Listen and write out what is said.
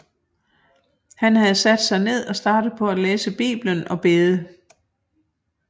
Han havde sat sig ned og startet på at læse Bibelen og bede